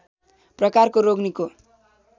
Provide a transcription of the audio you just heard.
प्रकारको रोग निको